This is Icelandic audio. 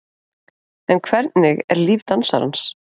En hvernig er líf dansarans?